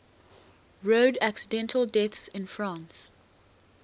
road accident deaths in france